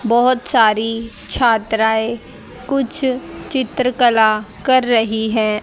बहोत सारी छात्राएं कुछ चित्रकला कर रही हैं।